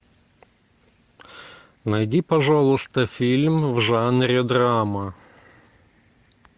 найди пожалуйста фильм в жанре драма